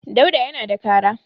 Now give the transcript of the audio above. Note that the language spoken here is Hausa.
Dauda yana da kara.